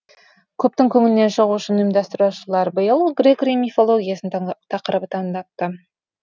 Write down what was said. көптің көңілінен шығу үшін ұйымдастырушылар биыл грек рим мифологиясы тақырыбын таңдапты